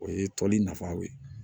O ye tɔli nafaw ye